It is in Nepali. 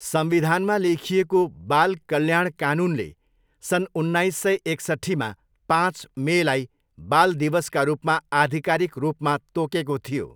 संविधानमा लेखिएको बाल कल्याण कानुनले सन् उन्नाइस सय एकसट्ठीमा पाँच मेलाई बाल दिवसका रूपमा आधिकारिक रूपमा तोकेको थियो।